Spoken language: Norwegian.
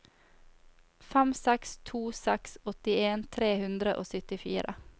fem seks to seks åttien tre hundre og syttifire